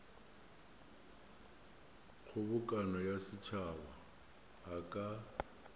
kgobokano ya setšhaba a ka